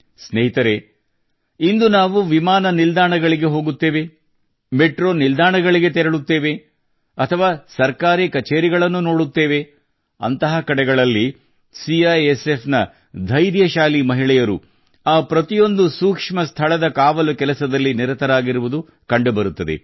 ಸ್ನೇಹಿತರೇ ಇಂದು ನಾವು ವಿಮಾನ ನಿಲ್ದಾಣಗಳು ಮೆಟ್ರೋ ನಿಲ್ದಾಣಗಳಿಗೆ ಹೋದಾಗ ಅಥವಾ ಸರ್ಕಾರಿ ಕಚೇರಿಗಳನ್ನು ನೋಡಿದಾಗ ಅಂತಹ ಕಡೆಗಳಲ್ಲಿ ಸಿಐಎಸ್ಎಫ್ ನ ಧೈರ್ಯಶಾಲಿ ಮಹಿಳೆಯರು ಪ್ರತಿಯೊಂದು ಸೂಕ್ಷ್ಮ ಸ್ಥಳದ ಕಾವಲು ಕೆಲಸದಲ್ಲಿ ನಿರತರಾಗಿರುವುದು ಕಂಡು ಬರುತ್ತದೆ